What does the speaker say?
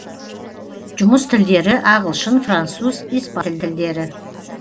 жұмыс тілдері ағылшын француз испан тілдері